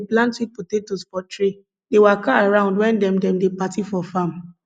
hausa pipo dey plant sweet potatoes for tray dey waka around wen dem dem dey party for farm